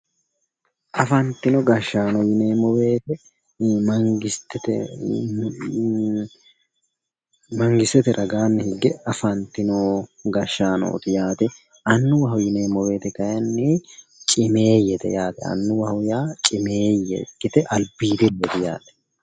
Afantino gashaano yineemmo woyte mangistete raganni higge afantino gashaanoti yaate, annuwaho yineemmo woyte kayinni cimmeyete yaate ,annuwaho yaa cimmeye ikkite albiidireti yaate.